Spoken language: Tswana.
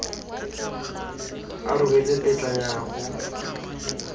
a rebotse tetla ya go